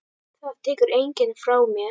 Það tekur enginn frá mér.